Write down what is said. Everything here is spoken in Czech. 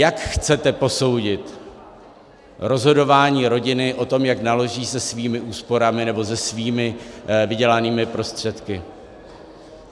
Jak chcete posoudit rozhodování rodiny o tom, jak naloží se svými úsporami nebo se svými vydělanými prostředky?